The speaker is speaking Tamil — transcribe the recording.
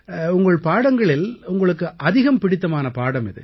உங்கள் பாடங்களில் உங்களுக்கு அதிகம் பிடித்தமான பாடம் எது